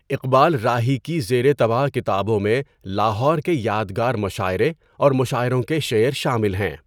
اقبال راہی کی زیر طبع کتابوں میں لاہور کے یادگار مشاعرے اور مشاعروں کے شعر شامل ہیں۔